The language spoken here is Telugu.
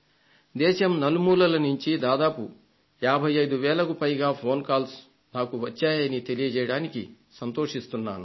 దేశం నలుమూలల నుంచి దాదాపు 55 వేలకు పైగా ఫోన్ కాల్స్ నాకు వచ్చాయని తెలియజేయడానికి సంతోషిస్తున్నాను